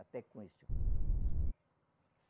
Até conheço.